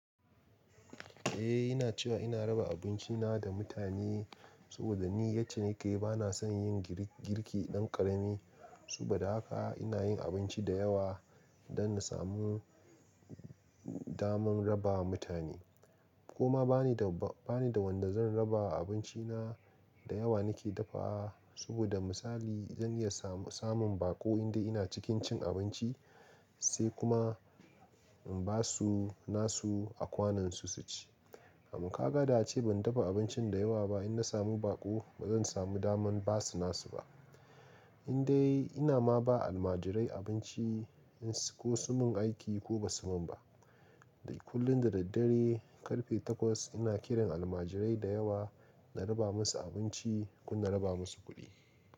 Eh ina cewa ina raba abinci na da mutane saboda ni yace nike bana son yin girki ɗan ƙarami. Saboda haka ina yin abinci da yawa don na samu daman raba wa mutane. Koma bani da wanda zan raba abinci na da yawa nake dafawa. Saboda misali zan iya samun baƙo inda ina cikin cin abinci sai kuma in basu nasu a kwanan su, su ci. In ka ga da ace ban dafa abincin da yawa ba in na samu baƙo bazan samu daman basu nasu ba. Indai ina ma ba almajirai abinci ko sun mun aiki ko ba su mun ba. Kullun da daddare ƙarfe takwas ina kiran almajirai da yawa na raba musu abinci ko na raba musu kuɗi.